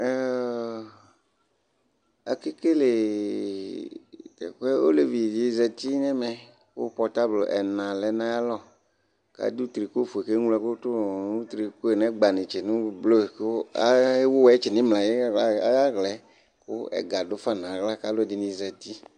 ake kele teku yɛ olevi di zati n'ɛmɛ kò pɔtable ɛna lɛ n'ayi alɔ k'adu triko fue k'eŋlo ɛkò to no triko yɛ n'ɛgba netse no blu kò ewu wɔtsi n'imla ayi ala yɛ kò ɛga do fa n'ala k'alò ɛdini zati